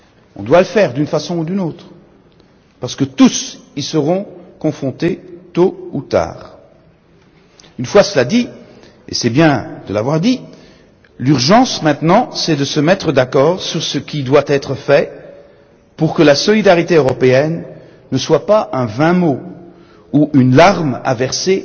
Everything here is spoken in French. On doit le faire d'une façon ou d'une autre, parce que tous y seront confrontés tôt ou tard. Cela dit et c'est bien de l'avoir dit l'urgence maintenant, c'est de se mettre d'accord sur ce qui doit être fait, pour que la solidarité européenne ne soit pas un vain mot, ou une larme à verser